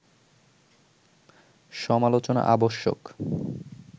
সমালোচনা আবশ্যক